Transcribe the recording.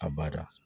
A bada